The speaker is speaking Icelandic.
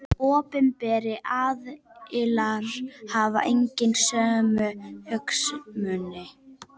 Opinberir aðilar hafa einnig sömu hagsmuni.